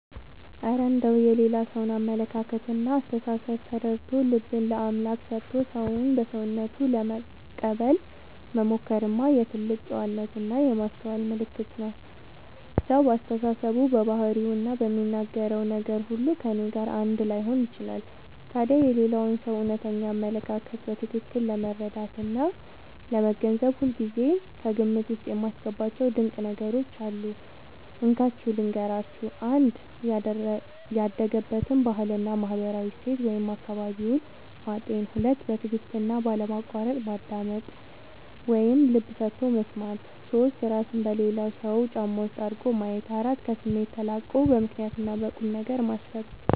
እረ እንደው የሌላ ሰውን አመለካከትና አስተሳሰብ ተረድቶ፣ ልብን ለአምላክ ሰጥቶ ሰውን በሰውነቱ ለመቀበል መሞከርማ የትልቅ ጨዋነትና የማስተዋል ምልክት ነው! ሰው በአስተሳሰቡ፣ በባህሪውና በሚናገረው ነገር ሁሉ ከእኔ ጋር አንድ ላይሆን ይችላል። ታዲያ የሌላውን ሰው እውነተኛ አመለካከት በትክክል ለመረዳትና ለመገንዘብ ሁልጊዜ ከግምት ውስጥ የማስገባቸው ድንቅ ነገሮች አሉ፤ እንካችሁ ልንገራችሁ - 1. ያደገበትን ባህልና ማህበራዊ እሴት (አካባቢውን) ማጤን 2. በትዕግስትና ባለማቋረጥ ማዳመጥ (ልብ ሰጥቶ መስማት) 3. እራስን በሌላው ሰው ጫማ ውስጥ አድርጎ ማየት 4. ከስሜት ተላቆ በምክንያትና በቁምነገር ማሰብ